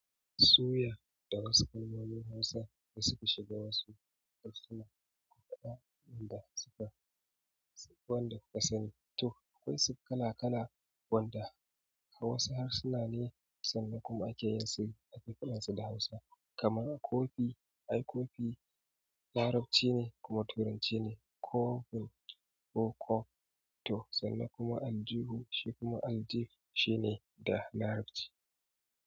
Suya da wasu kalmomin Hausa da suka shiga wasu harsuna, kuma wanda suka, wanda kuka sani, to akwai kala kala wanda a wasu harsuna ne sannan kuma ake yin su a cikin harshen Hausa. Kama coffee, ai coffee Larabci ne kuma Turancine coffee ko coffe to sanda kuma aljihu shi kuma aljih shi ne da Larabci.